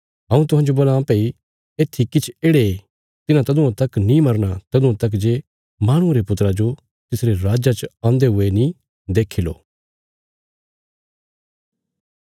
हऊँ तुहांजो बोलां भई येत्थी किछ येढ़े तिन्हां तदुआं तक नीं मरना तदुआं तक जे माहणुये रे पुत्रा जो तिसरे राज्जा च औन्दे हुये नीं देक्खी लो